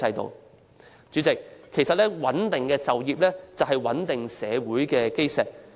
代理主席，其實就業穩定是社會穩定的基石。